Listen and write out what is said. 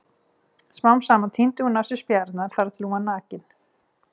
Smám saman tíndi hún af sér spjarirnar þar til hún var nakin.